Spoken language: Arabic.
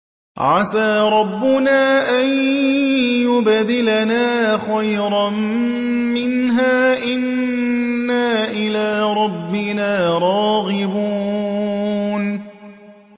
عَسَىٰ رَبُّنَا أَن يُبْدِلَنَا خَيْرًا مِّنْهَا إِنَّا إِلَىٰ رَبِّنَا رَاغِبُونَ